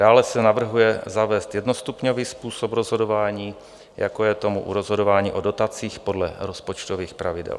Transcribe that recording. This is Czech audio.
Dále se navrhuje zavést jednostupňový způsob rozhodování, jako je tomu u rozhodování o dotacích podle rozpočtových pravidel.